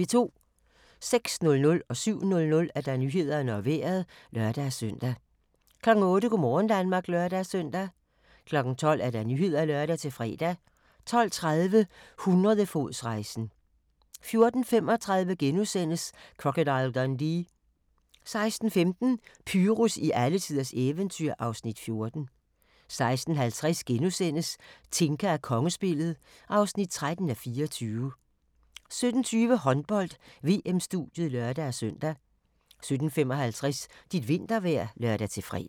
06:00: Nyhederne og Vejret (lør-søn) 07:00: Nyhederne og Vejret (lør-søn) 08:00: Go' morgen Danmark (lør-søn) 12:00: Nyhederne (lør-fre) 12:30: Hundredefodsrejsen 14:35: Crocodile Dundee * 16:15: Pyrus i alletiders eventyr (Afs. 14) 16:50: Tinka og kongespillet (13:24)* 17:20: Håndbold: VM-studiet (lør-søn) 17:55: Dit vintervejr (lør-fre)